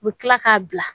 U bɛ tila k'a bila